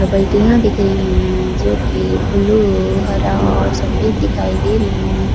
बाल्टियां दिख रही है जो की ब्लू हरा और सफेद दिखाई दे रही है।